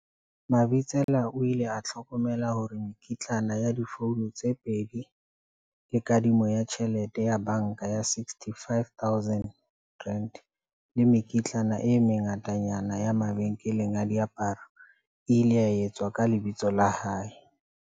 Mabitsela o ile a hlokomela hore mekitlane ya difouno tse pedi le kadimo ya tjhelete ya banka ya R65 000 le mekitlane e mengatanyana ya mabenkeleng a diaparo e ile etswa ka lebitso la hae.